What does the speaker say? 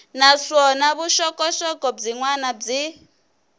naswona vuxokoxoko byin wana byi